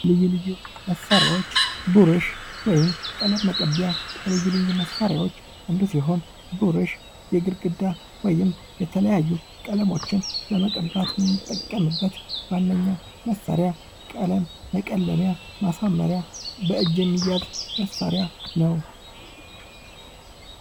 ልዩ ልዩ መሳሪያዎች፤ ብሩሽ ወይም ቀለም መቀቢያ ከልዩ ልዩ መሳሪያዎች አንዱ ሲሆን ብሩሽ የግድግዳ ወይም የተለያዩ ቀለሞችን ለመቀባት የምንጠቀምበት ዋነኛ መሳሪያ፤ ቀለም መቀለሚያ፤ ማሳመሪያ በእጅ የሚያዝ መሳሪያ ነው።